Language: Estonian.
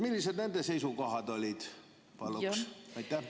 Millised nende seisukohad olid?